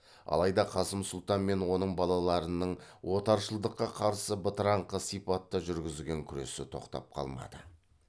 алайда қасым сұлтан мен оның балаларының отаршылдыққа қарсы бытыраңқы сипатта жүргізген күресі тоқтап қалмады